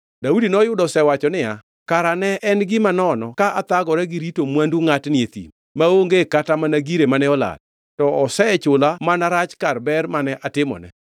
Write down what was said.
Daudi noyudo osewacho niya, “Kara ne en gima nono ka athagora gi rito mwandu ngʼatni e thim, maonge kata mana gire mane olal. To osechula mana rach kar ber mane atimone.